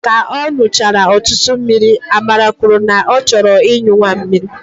Ka ọ nụchara ọtụtụ mmiri, Amara kwuru na ọ chọrọ inyu mamịrị